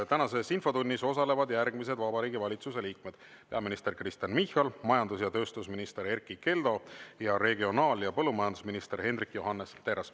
Tänases infotunnis osalevad järgmised Vabariigi Valitsuse liikmed: peaminister Kristen Michal, majandus- ja tööstusminister Erkki Keldo ja regionaal- ja põllumajandusminister Hendrik Johannes Terras.